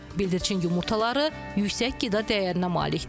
Bildirçin yumurtaları yüksək qida dəyərinə malikdir.